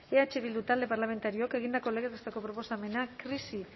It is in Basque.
eh bildu talde parlamentarioak egindako legez besteko proposamena krisi